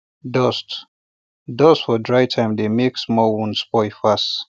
dust dust for dry time dey make small wound spoil fast